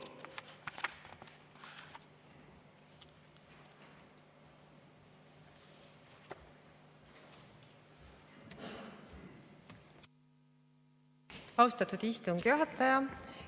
Austatud istungi juhataja!